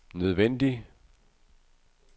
nødvendig